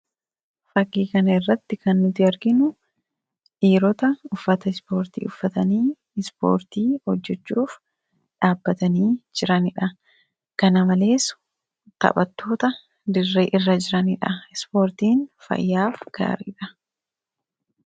Fakkii kanarratti kan nuti arginu dhiirota uffata ispoortii uffatanii ispoortii hojjachuuf dhaabbatanii jiranidha. Kana malees taphattoota dirree irra jiranidha. Ispoortiin fayyaaf gaariidha.